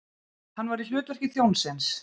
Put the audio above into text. Hann var í hlutverki þjónsins.